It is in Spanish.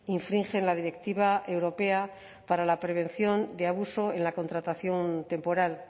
infringen la directiva europea para la prevención de abuso en la contratación temporal